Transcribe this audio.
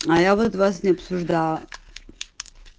а я вот вас не обсуждала